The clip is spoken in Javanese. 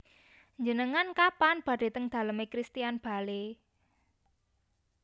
Njenengan kapan badhe teng dalem e Christian Bale?